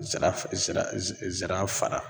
Zira zira zira fara